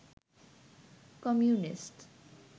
communist